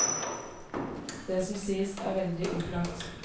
Det som sies er veldig opplagt.